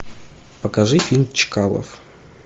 покажи фильм чкалов